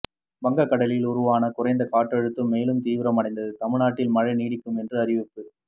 வங்க கடலில் உருவான குறைந்த காற்றழுத்தம் மேலும் தீவிரம் அடைந்தது தமிழ்நாட்டில் மழை நீடிக்கும் என்று அறிவிப்பு